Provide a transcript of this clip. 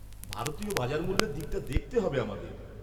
ভারতীয় বাজার মূল্যের দিকটা দেখতে হবে আমাদের।